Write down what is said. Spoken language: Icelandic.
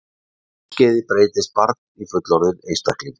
Á þessu skeiði breytist barn í fullorðinn einstakling.